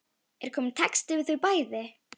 Er kominn texti við þau bæði?